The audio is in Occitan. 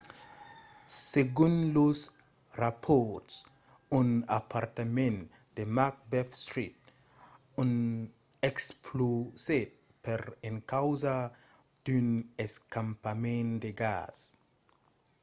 segon los rapòrts un apartament de macbeth street explosèt per encausa d’un escapament de gas